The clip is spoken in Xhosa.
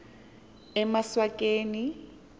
emaswakeni